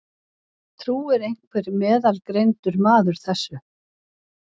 Trúir einhver meðalgreindur maður þessu?